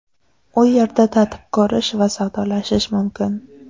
U yerda tatib ko‘rish va savdolashish mumkin.